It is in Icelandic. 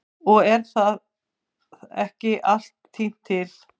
Og er þá ekki allt tínt til.